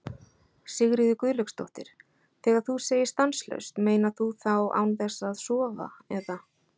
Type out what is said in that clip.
Sigríður Guðlaugsdóttir: Þegar þú segir stanslaust, meinar þú þá án þess að sofa eða?